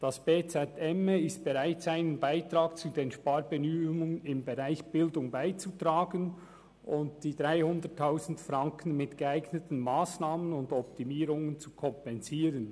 Das Bildungszentrum Emme (bz emme) ist bereit, seinen Beitrag zu den Sparbemühungen im Bereich Bildung beizutragen und die 300 000 Franken mit geeigneten Massnahmen und Optimierungen zu kompensieren.